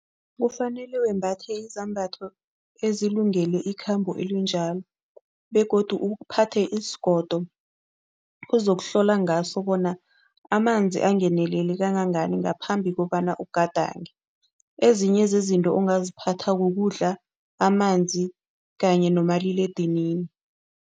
Kufanele wembatha izambatho ezilungele ikhambo elinjalo begodu uphathe isigodo ozokuhlola ngaso bona amanzi angenelele kangangani ngaphambi kobana ugadange. Ezinye zezinto ongaziphatha kukudla, amanzi kanye nomaliledinini.